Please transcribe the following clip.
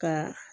Ka